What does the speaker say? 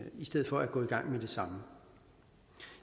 i stedet for at gå i gang med det samme